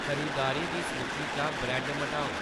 खरीदारी दी सूची चा ब्रेड मटाओ